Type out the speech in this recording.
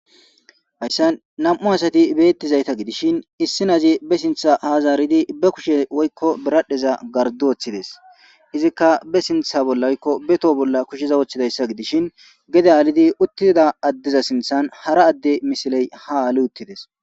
hayssan nam7u asati beettizayta gidishin issi nazi be sintha haazaaridi be kushe woykko beradheza gardu woththides izikka be sintha bollaykko be to bolla kusheza woththidayssa gidishin gede alidi uttida addiza sinthan hara adde misiley ha ali uttides